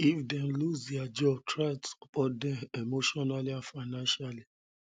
if dem loose their job try support dem emotionally and financially